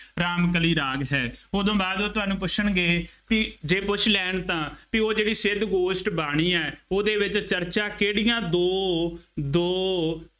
ਰਾਮ ਕਲੀ ਰਾਗ ਹੈ, ਉਹ ਤੋਂ ਬਾਅਦ ਉਹ ਤੁਹਾਨੂੰ ਪੁੱਛਣਗੇ ਜੇ ਪੁੱਛ ਲੈਣ ਤਾਂ ਬਈ ਉਹ ਜਿਹੜੀ ਸਿੱਧ ਗੋਸ਼ਟ ਬਾਣੀ ਹੈ, ਉਹਦੇ ਵਿੱਚ ਚਰਚਾ ਕਿਹੜੀਆਂ ਦੋ ਦੋ